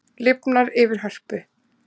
Lifnar yfir Hörpu